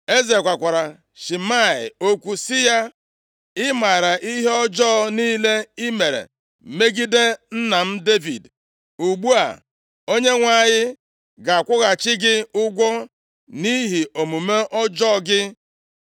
Eze gwakwara Shimei okwu sị ya, “I maara ihe ọjọọ + 2:44 \+xt 2Sa 16:5-13\+xt* niile i mere megide nna m Devid. Ugbu a Onyenwe anyị ga-akwụghachi gị ụgwọ nʼihi omume ọjọọ gị.